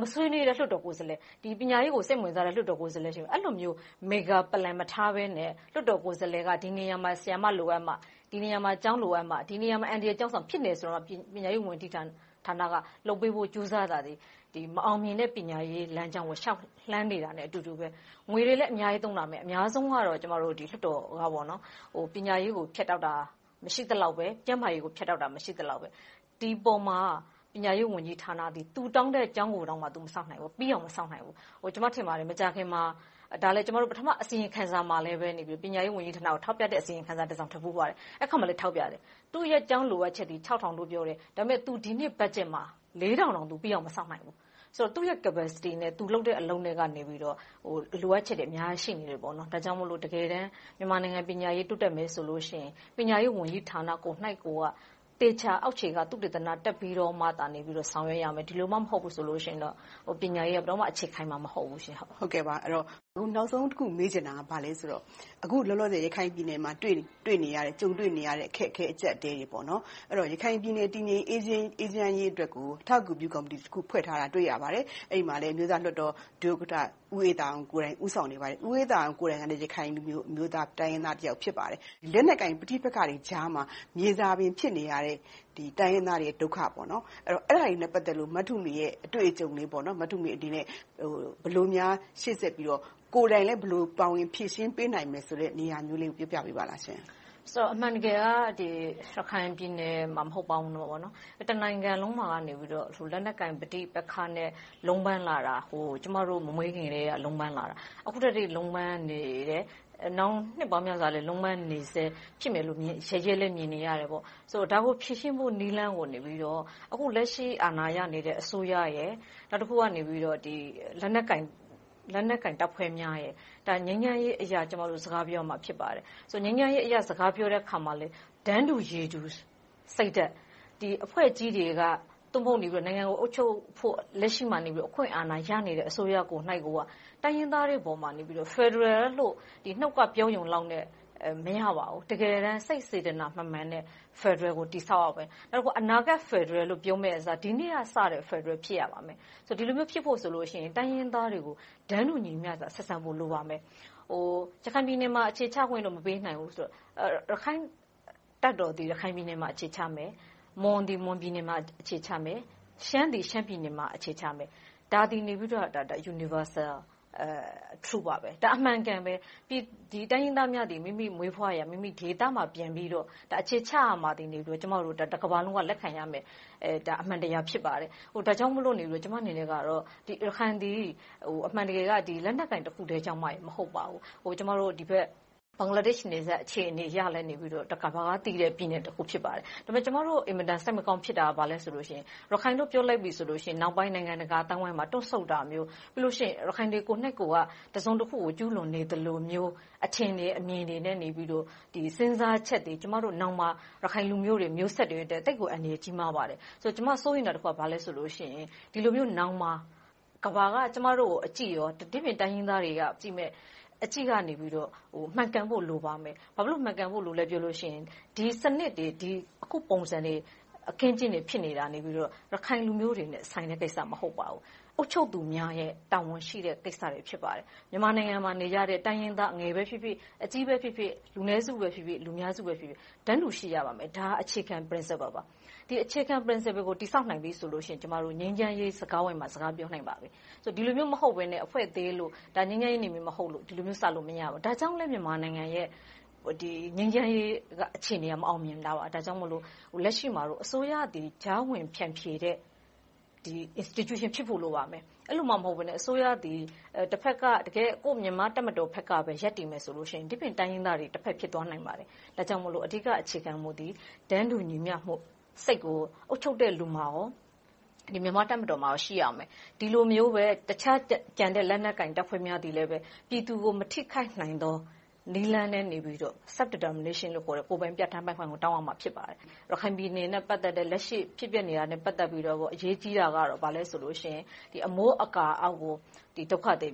မဆွေးနွေးတဲ့ လွှတ်တော်ကိုယ်စားလှယ်၊ ပညာရေးကို စိတ်မဝင်စားတဲ့ လွှတ်တော်ကိုယ်စားလှယ်တွေလည်း ရှိမယ်။ အဲဒီလိုမျိုး Mega Plan မထားဘဲနဲ့ လွှတ်တော်ကိုယ်စားလှယ်က ဒီနေရာမှာ ဆရာမ လိုအပ်မှ၊ ဒီနေရာမှာ ကျောင်းလိုအပ်မှ။ ဒီနေရာမှာ အန္တရာယ်ကျောင်းဆောင် ဖြစ်တယ်ဆိုမှ ပညာရေးဌာနက လုပ်ပေးဖို့ ကြိုးစားတာသည်၊ မအောင်မြင်တဲ့ ပညာရေးလမ်းကြောင်းကို လျှောက်လှမ်းနေတာနဲ့ အတူတူပဲ။ ငွေတွေလည်း အများကြီးသုံးလာတယ်။ အများဆုံးကတော့ လွှတ်တော်က ပညာရေးကို ဖြတ်တောက်တာ မရှိသလောက်ပဲ။ ကျန်မားရေးကို ဖြတ်တောက်တာ မရှိသလောက်ပဲ။ ဒီပေါ်မှာ ပညာရေးဝန်ကြီးဌာနသည် သူတောင်းတဲ့ကျောင်းကိုတောင်မှ ပြီးအောင်မဆောက်နိုင်ဘူး။ ကျမ ထင်ပါတယ် - မကြာခင်မှာ ကျမတို့ အစီရင်ခံစာမှာလည်း ပညာရေးဝန်ကြီးဌာနကို ထောက်ပြတဲ့ အစီရင်ခံစာတစောင် ထွက်ဖူးပါတယ်။ အဲဒီမှာလည်း ထောက်ပြတယ်။ သူ့ရဲ့ကျောင်းလိုအပ်ချက်သည် ခြောက်ထောင်လို့ ပြောတယ်။ ဒါပေမဲ့ သူ ဒီနှစ်ဘက်ဂျက်မှာ လေးထောင်တောင် မဆောက်နိုင်ဘူး။ ဆိုတော့ သူ့ရဲ့ Capacity နဲ့ သူလုပ်တဲ့ အလုပ်နဲ့မှာ လိုအပ်ချက်တွေ အများကြီးရှိနေသေးတယ်။ ဒါကြောင့်မို့ တကယ်တမ်း မြန်မာနိုင်ငံ ပညာရေးတိုးတက်ဖို့ဆိုရင် ပညာရေးဝန်ကြီးဌာနကိုယ်တိုင်က သေချာအောက်ခြေကနေ သုတေသန တက်ပြီးတော့မှသာ ဆောင်ရွက်ရမယ်။ ဒီလိုမှ မဟုတ်ဘူးဆိုလို့ရှိရင် ပညာရေးက ဘယ်တော့မှ အခြေခိုင်မှာ မဟုတ်ဘူး။ အခုနောက်ဆုံးတခု မေးချင်တာက ဘာလဲဆိုတော့ အခုလောလောဆယ် ရခိုင်ပြည်နယ်မှာ ကြုံတွေ့နေရတဲ့ အခက်အခဲ၊ အကျပ်အတည်းတွေ - ရခိုင်ပြည်နယ် တည်ငြိမ်အေးချမ်းရေးအတွက်ကို အထောက်အကူပြု ကော်မတီတခု ဖွဲ့ထားတာကို တွေ့ရပါတယ်။ အဲဒီမှာလဲ အမျိုးသားလွှတ်တော် ဒုဥက္ကဋ္ဌ ဦးအေးသာအောင်ကိုယ်တိုင် ဦးဆောင်လုပ်ကိုင်နေပါတယ်။ ဦးအေးသာအောင်ကိုယ်တိုင်လည်း ရခိုင်အမျိုးသား၊ တိုင်းရင်းသားတယောက် ဖြစ်ပါတယ်။ လက်နက်ကိုင် ပဋိပက္ခတွေကြားမှာ မြေဇာပင် ဖြစ်နေရတဲ့ တိုင်းရင်းသားတွေရဲ့ ဒုက္ခ။ အဲဒါတွေနဲ့ ပတ်သက်လို့ မထုမေရဲ့ အတွေ့အကြုံလေး။ မထုမေအနေနဲ့ ဘယ်လိုများ ရှေ့ဆက်ပြီးတော့၊ ကိုယ်တိုင်လည်း ဘယ်လိုဖြေရှင်းပေးနိုင်မယ်ဆိုတဲ့ နေရာမျိုးလေးကို ပြောပြပေးပါ။ အမှန်တကယ်က ရခိုင်ပြည်နယ်မှာတင် မဟုတ်ပါဘူး၊ တနိုင်ငံလုံးမှာ လက်နက်ကိုင် ပဋိပက္ခနဲ့ လုံးပမ်းလာတာ ကျမတို့ မမွေးခင်ကတည်းက လုံးပမ်းလာတာ။ အခုထက်ထိ လုံးပမ်းနေတယ်။ နောင်နှစ်ပေါင်းများစွာလည်း လုံးပမ်းနေဆဲ ဖြစ်မယ်လို့ မြင်နေရတယ်။ ဒါကို ဖြေရှင်းဖို့နည်းလမ်းကို လက်ရှိ အာဏာရနေတဲ့ အစိုးရရယ်၊ နောက်တခုက လက်နက်ကိုင်တပ်ဖွဲ့တွေက ငြိမ်းချမ်းရေးအရ စကားပြောရမှာ ဖြစ်ပါတယ်။ ငြိမ်းချမ်းရေးအရ စကားပြောတဲ့အခါမှာလဲ တန်းတူရည်တူစိတ်ဓါတ်၊ အဖွဲ့ကြီးတွေက နိုင်ငံကို လက်ရှိမှာ အုပ်ချုပ်ဖို့ အခွင့်အာဏာရနေတဲ့ အစိုးရကိုယ်တိုင်က တိုင်းရင်းသားတွေအပေါ် ဖယ်ဒရယ်လို့ နှုတ်ကပြောရုံလောက်နဲ့ မရပါဘူး။ တကယ်တမ်း စိတ်စေတနာမှန်မှန်နဲ့ ဖယ်ဒရယ်ကို တည်ဆောက်ရမယ်။ နောက်တခါ အနာဂတ်ဖယ်ဒရယ်လို့ ပြောမယ့်အစား၊ ဒီနေ့ကစတဲ့ ဖယ်ဒရယ် ဖြစ်ရပါမယ်။ ဒီလိုမျိုး ဖြစ်ဖို့ဆိုလို့ရှိရင် တိုင်းရင်းသားတွေကို တန်းတူညီမျှစွာ ဆက်ဆံဖို့ လိုပါလိမ့်မယ်။ ရခိုင်ပြည်နယ်မှာတော့ အခြေချခွင့်တော့ မပေးနိုင်ဘူး - ရခိုင်တပ်သည် ရခိုင်ပြည်နယ်မှာ အခြေချမယ်။ မွန်သည် မွန်ပြည်နယ်မှာ အခြေချမယ်။ ရှမ်းသည် ရှမ်းပြည်နယ်မှာ အခြေချမယ်။ ဒါက Universal Truth ပါ။ ဒါက အမှန်အကန်ပဲ - တိုင်းရင်းသားများသည် မိမိမွေးဖွားရာ၊ ဒေသမှာ ပြန်ပြီးတော့ အခြေချနိုင်ရမယ်ဆိုတာကို တကမ္ဘာလုံးက လက်ခံရမယ့် အမှန်တရား ဖြစ်ပါတယ်။ ဒါကြောင့်မို့ ကျမအနေနဲ့ ရခိုင်သည် အမှန်တကယ်က လက်နက်ကိုင်တခုတည်းကြောင့် မဟုတ်ပါဘူး။ ဟိုဘက် ဘင်္ဂလားဒေ့ရှ်နယ်စပ် အခြေအနေကိုလည်း တကမ္ဘာကသိတဲ့ ပြည်နယ်တခု ဖြစ်ပါတယ်။ ဒါပေမဲ့ ကျမတို့ အင်မတန် စိတ်မကောင်းဖြစ်တာ ဘာလဲဆိုတော့ ရခိုင်လို့ ပြောလိုက်ရင် နောက်ပိုင်း နိုင်ငံတကာအသိုင်းအဝိုင်းမှာ တွန့်ဆုတ်တာမျိုး။ ပြီးနောက် ရခိုင်တွေကိုယ်တိုင်က တစုံတခုကို ကျူးလွန်နေသလိုမျိုး၊ အထင်တွေအမြင်တွေနဲ့နေပြီး၊ စဉ်းစားချက်တွေ ကျမတို့နောင်မှာ ရခိုင်လူမျိုးတွေ မျိုးဆက်တွေအတွက် သိပ်ကိုအန္တရာယ် ကြီးမားပါတယ်။ ကျမ စိုးရိမ်တာတခုက ဘာလဲဆိုရင် ဒီလိုမျိုးနောင်မှာ ကမ္ဘာက ကျမတို့ကို အကြည့်၊ တခြားတိုင်းရင်းသားတွေကကြည့်မယ့် အကြည့်ကနေ မှန်ကန်ဖို့ လိုပါတယ်။ ဘာဖြစ်လို့ မှန်ကန်ဖို့ လိုတယ်လို့ ပြောရလဲဆိုရင် ဒီစနစ်တွေ၊ အခုပုံစံတွေ၊ အခင်းအကျင်းတွေ ဖြစ်နေတာကနေ ရခိုင်လူမျိုးတွေနဲ့ ဆိုင်တဲ့ကိစ္စ မဟုတ်ပါဘူး။ အုပ်ချုပ်သူများရဲ့ တာဝန်ရှိတဲ့ ကိစ္စတွေ ဖြစ်ပါတယ်။ မြန်မာနိုင်ငံမှာ နေကြတဲ့ တိုင်းရင်းသား အငယ်ပဲဖြစ်ဖြစ်၊ အကြီးပဲဖြစ်ဖြစ်၊ လူနည်းစုဖြစ်ဖြစ်၊ လူများစုဖြစ်ဖြစ် တန်းတူရှိရပါမယ်။ ဒါက အခြေခံ Principle ပါ။ ဒီအခြေခံ Principle ကို တည်ဆောက်နိုင်ပြီဆိုရင် ကျမတို့ ငြိမ်းချမ်းရေးစကားဝိုင်းမှာ စကားပြောနိုင်ပါပြီ။ ဒီလိုမျိုး မဟုတ်ဘဲနဲ့ အဖွဲ့သေးလို့၊ ငြိမ်းချမ်းနယ်မြေ မဟုတ်လို့ ဒီလိုမျိုးစလို့ မရဘူး။ ဒါကြောင့်လဲ မြန်မာနိုင်ငံရဲ့ ငြိမ်းချမ်းရေးအခြေအနေက မအောင်မြင်တာပါ။ ဒါကြောင့်မို့ လက်ရှိမှာတော့ အစိုးရသည် ကြားဝင်ဖြန်ဖြေတဲ့ Institute ဖြစ်ဖို့ လိုအပ်ပါတယ်။ အဲဒီလိုမှ မဟုတ်ဘဲနဲ့ အစိုးရသည် တဘက်က မြန်မာ့တပ်မတော်ဘက်ကပဲ ရပ်တည်မယ်ဆိုရင် ဒီပြင့်တိုင်းရင်းသားတွေက တဘက် ဖြစ်သွားနိုင်ပါတယ်။ ဒါကြောင့်မို့ အဓိကအခြေခံမူသည် တန်းတူညီမျှမှု၊ အုပ်ချုပ်တဲ့လူနဲ့ မြန်မာတပ်မတော်မှာ ရှိရပါမယ်။ ဒီလိုမျိုးပဲ တခြားကျန်တဲ့ လက်နက်ကိုင်တပ်ဖွဲ့များသည်လည်း ပြည်သူကို မထိခိုက်နိုင်သော နည်းလမ်းနဲ့ပဲ Self-determination ကိုယ်ပိုင်ပြဌာန်းပိုင်ခွင့်ကို တောင်းရမှာ ဖြစ်ပါတယ်။ ရခိုင်ပြည်နယ်နဲ့ ပတ်သက်တဲ့ လက်ရှိဖြစ်ပျက်နေတာနဲ့ ပတ်သက်ပြီးတော့ အရေးကြီးတာက ဘာလဲဆိုရင် အမိုးအကာအောက်ကို စစ်ဘေးဒုက္ခသည်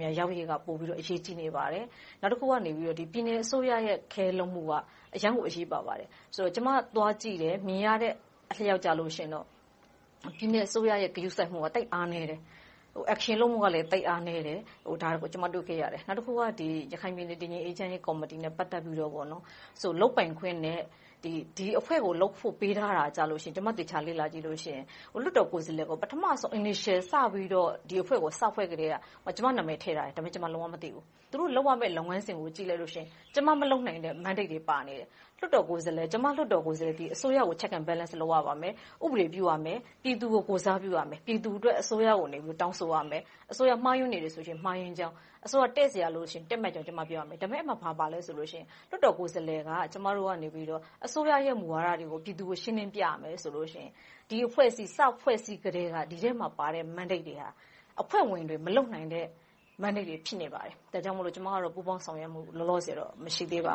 များ ရောက်ရေးက ပိုအရေးကြီးနေပါတယ်။ နောက်တခုက ပြည်နယ်အစိုးရရဲ့ take care လုပ်မှုက အရမ်းကို အရေးပါပါတယ်။ ကျမ သွားကြည့်တယ်။ မြင်ရတဲ့အလျှောက် ပြည်နယ်အစိုးရရဲ့ ဂရုစိုက်မှုက သိပ်အားနည်းတယ်။ Action လုပ်မှုကလည်း သိပ်အားနည်းတယ်။ ဒါတွေကို ကျမတွေ့ခဲ့ရတယ်။ နောက်တခုက ရခိုင်ပြည်နယ် တည်ငြိမ်အေးချမ်းရေးကော်မတီနဲ့ ပတ်သက်ပြီး လုပ်ပိုင်ခွင့်နဲ့ ဒီအဖွဲ့ကို လုပ်ဖို့ပေးထားတာကို သေချာလေ့လာကြည့်ရင် လွှတ်တော်ကိုယ်စားလှယ်ကို ပထမဦးဆုံး Initial စပြီးတော့ ဒီအဖွဲ့ကို စဖွဲ့ကတည်းက ကျမနာမည်ထည့်ထားတယ်။ ဒါပေမဲ့ ကျမ လုံးဝမသိဘူး။ သူတို့လုပ်ရမယ့် လုပ်ငန်းစဉ်ကို ကြည့်လိုက်လို့ရှိရင် ကျမမလုပ်နိုင်တဲ့ mandate တွေ ပါနေတယ်။ ကျမ လွှတ်တော်ကိုယ်စားလှယ်သည် အစိုးရကို Check and Balance လုပ်ရပါမယ်။ ဥပဒေပြုရမယ်။ ပြည်သူကို ကိုယ်စားပြုရမယ်။ ပြည်သူအတွက် အစိုးရကို တောင်းဆိုသွားရမယ်။ အစိုးရ မှားယွင်းနေတယ်ဆိုရင် မှားယွင်းကြောင်း။ အစိုးရ တည့်စရာလိုလို့ရှိရင် တည့်မတ်ဖို့ ကျမ ပြောရမယ်။ အဲဒီမှာ ဘာပါလဲဆိုရင် လွှတ်တော်ကိုယ်စားလှယ်က ကျမတို့က အစိုးရရဲ့ မူဝါဒတွေကို ပြည်သူကို ရှင်းလင်းပြရမယ်ဆိုရင် ဒီအဖွဲ့အစည်း စဖွဲ့စည်းကတည်းက ဒီထဲမှာပါတဲ့ Mandates တွေက အဖွဲ့ဝင်တွေ မလုပ်နိုင်တဲ့ mandate တွေ ဖြစ်နေပါတယ်။ ဒါကြောင့်မို့ ကျမကတော့ ပူးပေါင်းဆောင်ရွက်မှု လောလောဆယ်တော့ မရှိသေးပါဘ